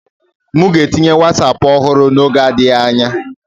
M ga-etinye Wosapu ọhụrụ n'oge adịghị anya.